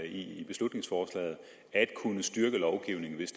i beslutningsforslaget at kunne styrke lovgivningen hvis